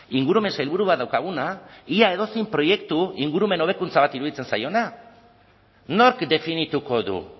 ingurumen sailburu bat daukaguna ia edozein proiektu ingurumen hobekuntza bat iruditzen zaiona nork definituko du